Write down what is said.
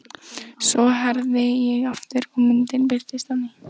Svo herði ég aftur og myndin birtist á ný.